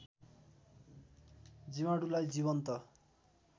जीवाणुलाई जीवन्त